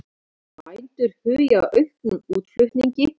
Bændur hugi að auknum útflutningi